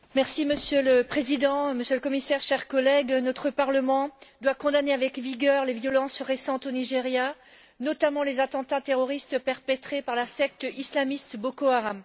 Monsieur le Président, Monsieur le Commissaire, chers collègues, notre parlement doit condamner avec vigueur les violences récentes au Nigeria, notamment les attentats terroristes perpétrés par la secte islamiste Boko Haram.